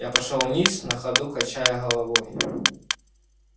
я пошёл вниз на ходу качая головой